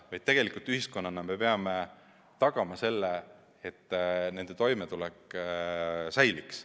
Me peame ühiskonnana tagama, et nende toimetulek säiliks.